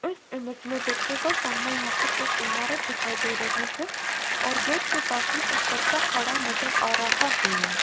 इस इमेज में देखिएगा सामने यहां पर एक इमारत दिखाई दे रही है और गेट के पास में एक बच्चा खड़ा नजर आ रहा है।